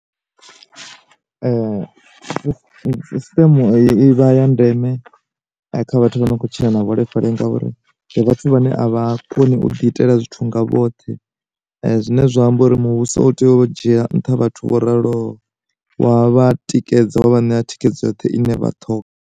System eyi ivha ya ndeme kha vhathu vha no tshila na vhuholefhali ngauri vhathu vhane a vha koni u ḓi itela zwithu nga vhoṱhe, zwine zwa amba uri muvhuso u tea u dzhiela nṱha vhathu vho raloho wa vha tikedza wa vha ṋea thikhedzo yoṱhe ine vhaṱhoga.